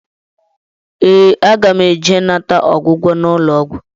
Ee, aga m eje ịnata ọgwụgwọ n'ụlọọgwụ